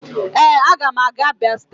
Ee, a ga m aga Abia state